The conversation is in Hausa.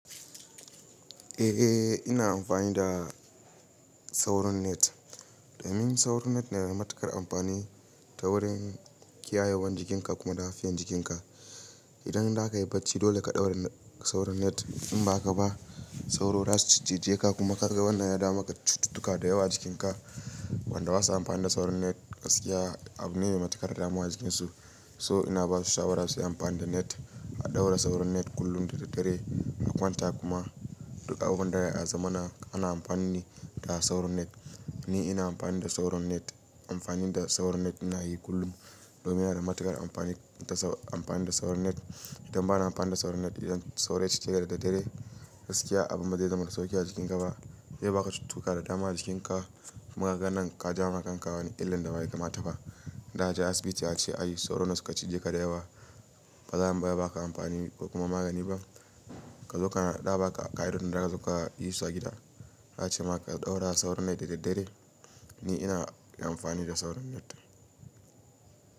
Eh ina amfani da sauro net. Domin sauro net ne da matuƙar amfani ta wurin kiyayewan jikinka kuma lafiyan jikinka. Idan zaka yi bacci dole ka ɗaura sauro net in ba ka ba sauro zasu cije ka kuma karga wannan ya dama maka cututtuka da yawa jikinka. Wanda basa amfani da sauro net gaskiya abu ne mai matuƙar dama wa jikin su. So ina basu shawara su yi amfani da net, a ɗaura sauro net kullum da daddare a kwanta kuma duk abun da yana a zamana ana amfani ne da sauro net. Ni ina amfani da sauro net. Amfani da sauro net ina yi kullum domin yana da matuƙar amfani da amfani da sauro net. Idan ba na amfani da sauro net idan sauro ya cije ka da daddare gaskiya abun bazai zama da sauki a jikinka ba. Eh baka cutuka da dama a jikinka. Magaganan ka jama kanka wani illan da bai kama tafa. Da na je asibiti a ce ai sauro ne suka cije ka da yawa. Ba za a yi ma ba baka amfani ko kuma magani ba. Ka zo ka naɗa baka a ƙa'idodin da aka zo ka yi su a gida. Na ce ma ka ɗaura sauro net da daddare. Ni ina yi amfani da sauro net.